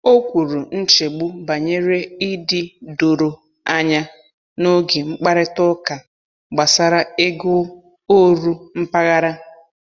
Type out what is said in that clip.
O kwuru nchegbu banyere ịdị doro anya n’oge mkparịta ụka gbasara ego oru mpaghara.